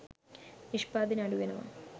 නිෂ්පාදනය අඩු වෙනවා.